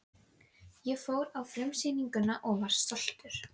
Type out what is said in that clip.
Ég fór á frumsýningu og var stoltur.